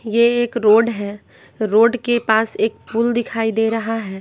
ये एक रोड है रोड के पास एक फूल दिखाई दे रहा है।